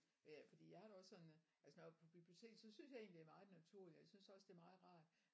Ja fordi jeg har det også sådan at altså når jeg er på biblioteket så synes jeg egentlig det er meget naturligt og jeg synes også det er meget rart